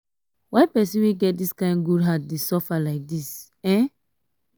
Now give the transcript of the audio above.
um why pesin wey get dis um kain good heart dey suffer lai dis? um